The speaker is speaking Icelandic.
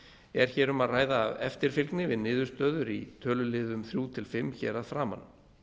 er hér um að ræða eftirfylgni við niðurstöður í þriðja til fimmta tölulið hér að framan